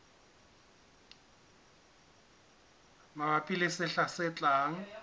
mabapi le sehla se tlang